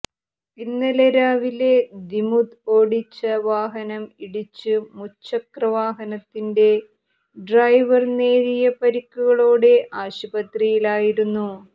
ഇന്നലെ രാവിലെ ദിമുത് ഓടിച്ച വാഹനം ഇടിച്ച് മുച്ചക്ര വാഹനത്തിന്റെ ഡ്രൈവര് നേരിയ പരിക്കുകളോടെ ആശുപത്രിയിലായിരുന്നു